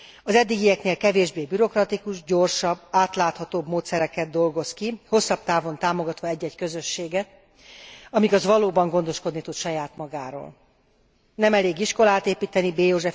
Az eddigieknél kevésbé bürokratikus, gyorsabb, átláthatóbb módszereket dolgoz ki, hosszabb távon támogatva egy egy közösséget, amíg az valóban gondoskodni tud saját magáról. Nem elég iskolát építeni B.